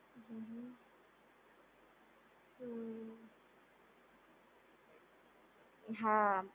હમ્મ હમ્મ, હમ્મ, હા